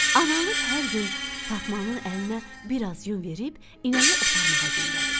Analıq hər gün Fatmanın əlinə biraz yun verib inəyi otarmağa göndərirdi.